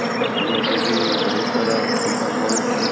ଘର ଲୋକ ବି ବହୁତ ସାରା ଚିନ୍ତା କରୁ ଥିଲେ